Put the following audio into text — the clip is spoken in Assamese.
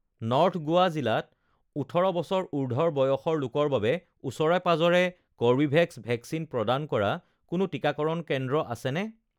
নৰ্থ গোৱা জিলাত ওঠৰ বছৰ উৰ্ধ্বৰ লোকৰ বাবে ওচৰে-পাঁজৰে কৰ্বীভেক্স ভেকচিন প্ৰদান কৰা কোনো টিকাকৰণ কেন্দ্ৰ আছেনে